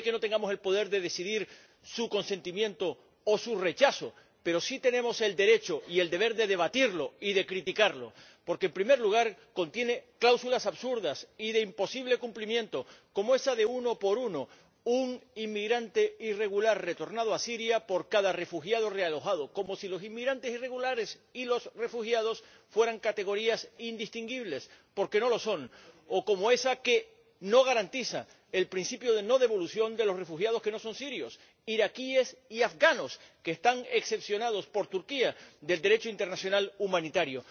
Puede que no tengamos el poder de decidir su consentimiento o su rechazo, pero sí tenemos el derecho y el deber de debatirlo y de criticarlo porque, en primer lugar, contiene cláusulas absurdas y de imposible cumplimiento, como esa del uno por uno ―un inmigrante irregular retornado a Siria por cada refugiado realojado, como si los inmigrantes irregulares y los refugiados fueran categorías indistinguibles, cuando no lo son―, o como esa que no garantiza el principio de no devolución de los refugiados que no son sirios ―iraquíes y afganos―, que están excepcionados por Turquía del Derecho internacional humanitario.